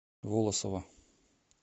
волосово